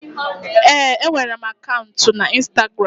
Ee, enwere m akaụntụ na Instagramu.